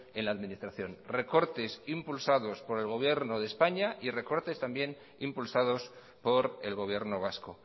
en la administración recortes impulsados por el gobierno de españa y recortes también impulsados por el gobierno vasco